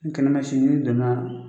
Ni kɛɲɛ ma ci n'i donna